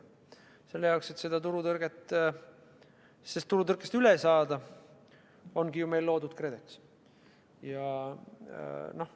Ja selle jaoks, et turutõrkest üle saada, ongi meil loodud KredEx.